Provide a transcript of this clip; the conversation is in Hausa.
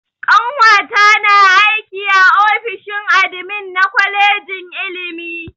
Ƙanwata na aiki a ofishin admin na kwalejin ilimi.